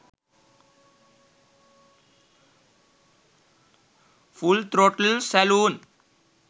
full throttle saloon